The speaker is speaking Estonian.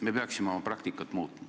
Me peaksime oma praktikat muutma.